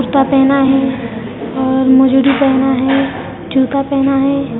पहना है और मोजडी पहना है जूता पहना है ।